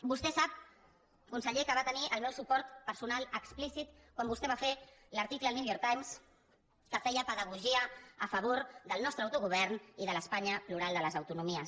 vostè sap conseller que va tenir el meu suport personal explícit quan vostè va fer l’article al new york times que feia pedagogia a favor del nostre autogovern i de l’espanya plural de les autonomies